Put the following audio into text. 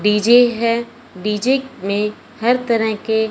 DJ है DJ में हर तरह के--